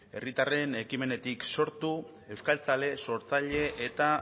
herritarren ekimenetik sortu euskaltzale sortzaile eta